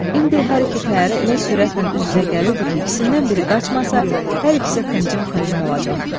İndi hər iki təyyarə elə sürətlə üz-üzə gəlirdi ki, ikisindən biri qaçmasa, hər ikisi xıncım-xıncım olacaqdı.